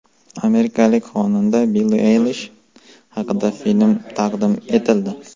Amerikalik xonanda Billi Aylish haqida film taqdim etildi.